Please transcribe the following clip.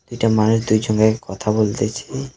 এটা মানুষ দুইজনের কথা বলতেছে .